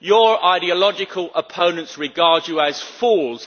Your ideological opponents regard you as fools